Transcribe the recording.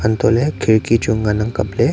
antole khidki chu ngan ang kab ley.